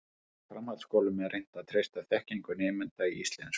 Í framhaldsskólum er reynt að treysta þekkingu nemenda í íslensku.